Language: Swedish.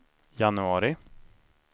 januari